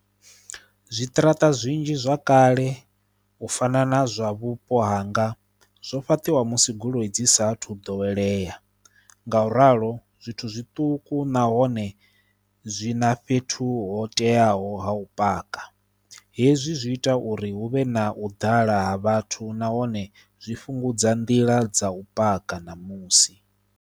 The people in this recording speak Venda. Zwiṱaraṱa zwinzhi zwa kale u fana na zwa vhupo hanga zwo fhaṱiwa musi goloi dzi saathu ḓowelea nga u ralo zwithu zwiṱuku zwina fhethu ho teaho ha u paka hezwi zwi ita uri hu vhe na u ḓala ha vhathu nahone zwi fhungudza nḓila dza u paka ṋamusi.